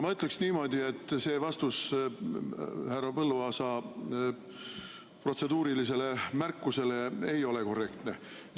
Ma ütleksin niimoodi, et see vastus härra Põlluaasa protseduurilisele märkusele ei ole korrektne.